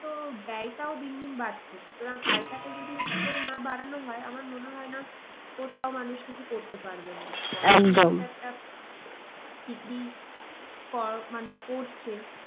তো ব্যয়টাও দিন দিন বাড়ছে সুতরাং আয় টাকে যদি ঠিক করে না বাড়ানো হয় আমার মনে হয় না কোথাও মানুষ কিছু করতে পারবে বলে। মানুষ করছে